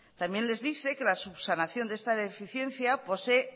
también les dice que la subsanación de esta deficiencia posee